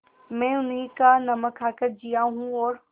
मैं उन्हीं का नमक खाकर जिया हूँ और